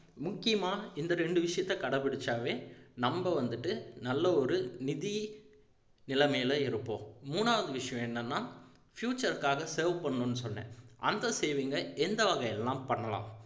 முக்கியமா இந்த ரெண்டு விஷயத்தை கடைபிடிச்சாவே நம்ம வந்துட்டு நல்ல ஒரு நிதி நிலைமையில இருப்போம் மூணாவது விஷயம் என்னன்னா future க்காக save பண்ணணும்னு சொன்னேன் அந்த saving ஐ எந்த வகையில் எல்லாம் பண்ணலாம்